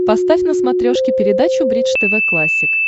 поставь на смотрешке передачу бридж тв классик